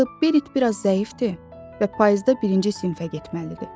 Axı Berit biraz zəifdir və payızda birinci sinifə getməlidir.